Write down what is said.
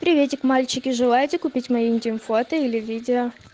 приветик мальчики желаете купить мои интим фото или видео